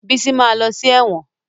Bísí ma lọ sí ẹ̀wọ̀n